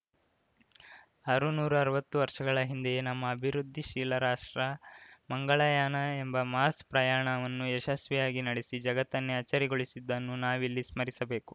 ಆರುನೂರಾವತ್ತು ವರ್ಷಗಳ ಹಿಂದೆಯೇ ನಮ್ಮ ಅಭಿವೃದ್ಧಿಶೀಲ ರಾಷ್ಟ್ರ ಮಂಗಳಯಾನ ಎಂಬ ಮಾರ್ಸ್ ಪ್ರಯಾಣವನ್ನು ಯಶಸ್ವಿಯಾಗಿ ನಡೆಸಿ ಜಗತ್ತನ್ನೇ ಅಚ್ಚರಿಗೊಳಿಸಿದ್ದನ್ನು ನಾವಿಲ್ಲಿ ಸ್ಮರಿಸಬೇಕು